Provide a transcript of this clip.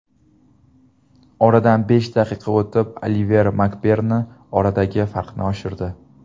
Oradan besh daqiqa o‘tib Oliver Makberni oradagi farqni oshirdi.